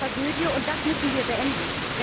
Das ist eine Tragödie, und das müssen wir beenden.